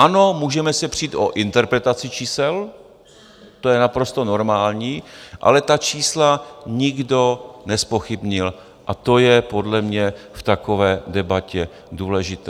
Ano, můžeme se přít o interpretaci čísel, to je naprosto normální, ale ta čísla nikdo nezpochybnil a to je podle mě v takové debatě důležité.